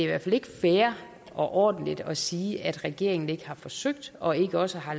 hvert fald ikke fair og ordentligt at sige at regeringen ikke har forsøgt og ikke også har